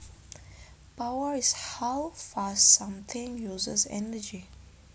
Power is how fast something uses energy